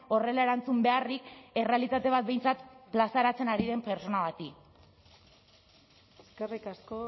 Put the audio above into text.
horrela erantzun beharrik errealitate bat behintzat plazaratzen ari den pertsona bati eskerrik asko